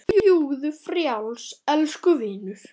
Fljúgðu frjáls, elsku vinur.